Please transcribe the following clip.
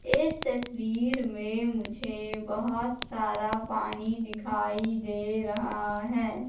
इस तस्वीर में मुझे बहुत सारा पानी दिखाई दे रहा है।